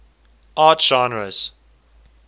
art genres